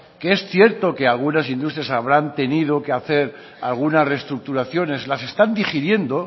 que es cierto que algunas industrias habrán tenido que hacer algunas restructuraciones las están digiriendo